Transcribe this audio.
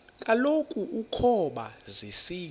kaloku ukoba zisina